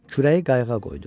Kürəyi qayığa qoydu.